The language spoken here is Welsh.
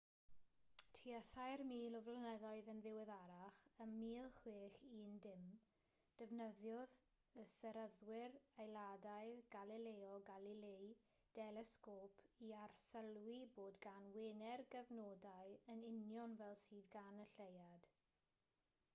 tua thair mil o flynyddoedd yn ddiweddarach ym 1610 defnyddiodd y seryddwr eidalaidd galileo galilei delesgôp i arsylwi bod gan wener gyfnodau yn union fel sydd gan y lleuad